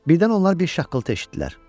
Birdən onlar bir şaqqıltı eşitdilər.